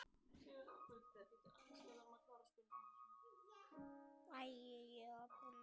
Þér líkt.